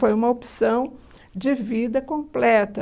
Foi uma opção de vida completa.